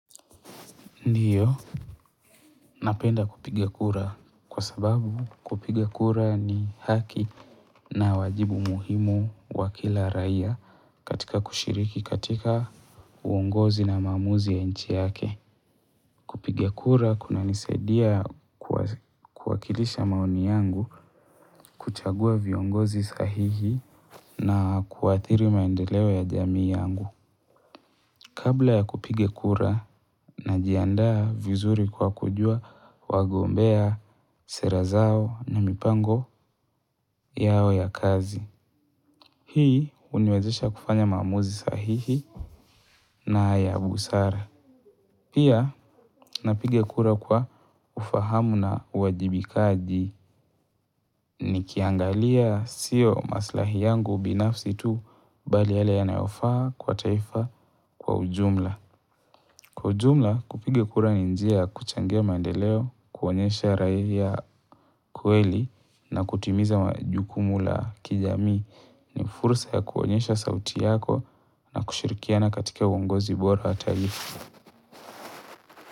Ndiyo, napenda kupiga kura kwa sababu kupiga kura ni haki na wajibu muhimu wa kila raia katika kushiriki katika uongozi na maamuzi ya nchi yake. Kupiga kura kunanisaidia kuwakilisha maoni yangu kuchagua viongozi sahihi na kuathiri maendeleo ya jamii yangu. Kabla ya kupige kura najiandaa vizuri kwa kujua wagombea sera zao na mipango yao ya kazi. Hii huniwezesha kufanya maamuzi sahihi na ya busara. Pia napiga kura kwa ufahamu na uwajibikaji nikiangalia siyo maslahi yangu binafsi tu bali yale yanayofaa kwa taifa kwa ujumla. Kwa ujumla kupiga kura ni njia ya kuchangia maendeleo, kuonyesha raia kweli na kutimiza majukumu la kijamii ni fursa ya kuonyesha sauti yako na kushirikiana katika uongozi bora hata hivyo.